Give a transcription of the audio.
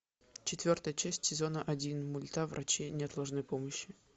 четвертая часть сезона один мульта врачи неотложной помощи